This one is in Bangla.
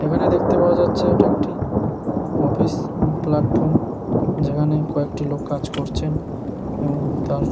এখানে দেখতে পাওয়া যাচ্ছে এটা একটি অফিস প্ল্যাটফর্ম যেখানে কয়েকটি লোক কাজ করছেন এবং তার --